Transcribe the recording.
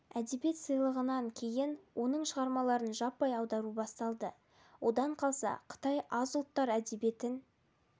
әдебиет сыйлығын алғаннан кейін оның шығармаларын жаппай аудару басталды одан қалса қытай аз ұлттар әдебиетін